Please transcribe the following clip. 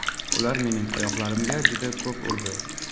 Ular mening oyoqlarimga juda ko‘p urdi.